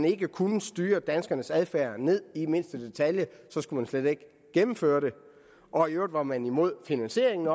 ikke man kunne styre danskernes adfærd ned i mindste detalje så skulle man slet ikke gennemføre det og i øvrigt var man også imod finansieringen